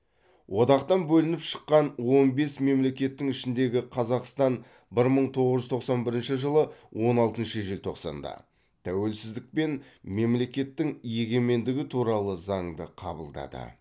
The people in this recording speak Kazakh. одақтан бөлініп шыққан он бес мемлекеттің ішіндегі қазақстан бір мың тоғыз жүз тоқсан бірінші жылы он алтыншы желтоқсанда тәуелсіздік пен мемлекеттің егемендігі туралы заңды қабылдады